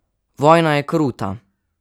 Vojna je kruta!